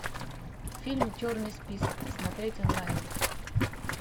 фильм черный список смотреть онлайн